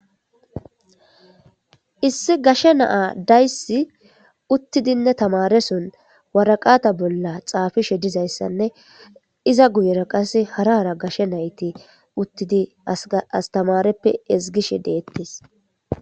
Issi gashe naa dayssi uttidinne tamareson waraqata bolla xaafishe dizayssanne iza guyera qasse harara gashshe nayti uttidi astamareppe ezgishe deettes.